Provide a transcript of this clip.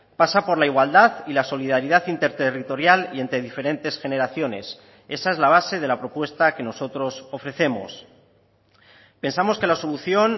pasa por la igualdad y la solidaridad interterritorial y entre diferentes generaciones esa es la base de la propuesta que nosotros ofrecemos pensamos que la solución